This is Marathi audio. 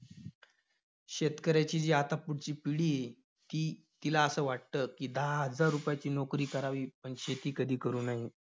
शेतकऱ्याची जी आता पुढची पिढी आहे, ती~ तिला असं वाटतं की, दहा हजार रुपयाची नोकरी करावी, पण शेती कधी करू नये.